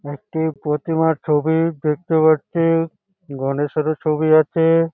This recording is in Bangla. একটি প্রতিমার ছবি দেখতে পাচ্ছি-ই গণেশেরও ছবি আছে।